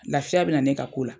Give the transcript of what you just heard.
Lafiya bɛ na ne ka ko la.